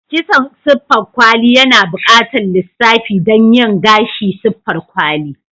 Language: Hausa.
kitson siffar kwali yana buƙatar lissafi don yin gashi siffar kwali.